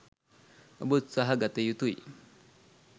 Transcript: ඔබ උත්සහ ගත යුතුයි.